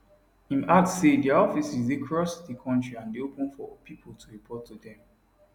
im add say dia offices dey cross di kontri and dey open for pipo to report to dem